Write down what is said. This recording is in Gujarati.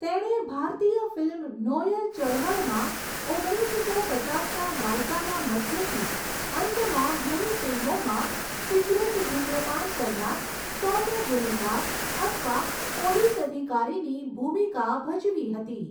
તેણે ભારતીય ફિલ્મ નોયર ચળવળમાં ઓગણીસસો પચાસના દાયકાના મધ્યથી અંતમાં ઘણી ફિલ્મોમાં સિગરેટ ધુમ્રપાન કરનાર સૌમ્ય ગુનેગાર અથવા પોલીસ અધિકારીની ભૂમિકા ભજવી હતી.